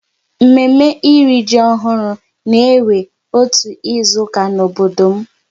Mme mme ịrị ji ọhụrụ na-ewe otu izuka n'obodo m